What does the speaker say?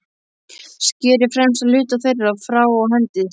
Skerið fremsta hluta þeirra frá og hendið.